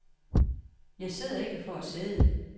Jeg sidder ikke for at sidde.